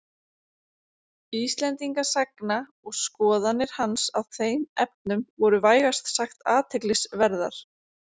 Íslendingasagna og skoðanir hans á þeim efnum voru vægast sagt athyglisverðar.